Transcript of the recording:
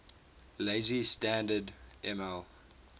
lazy standard ml